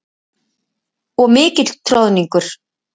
Og mikill troðningur.